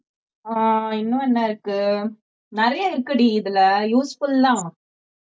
ஆஹ் இன்னும் என்ன இருக்கு நிறைய இருக்குடி இதுல useful தான்